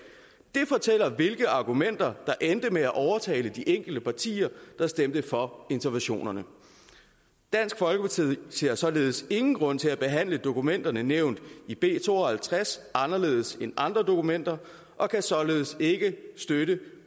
de fortæller hvilke argumenter der endte med at overtale de enkelte partier der stemte for interventionerne dansk folkeparti ser således ingen grund til at behandle dokumenterne nævnt i b to og halvtreds anderledes end andre dokumenter og kan således ikke støtte